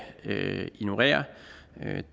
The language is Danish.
ignorere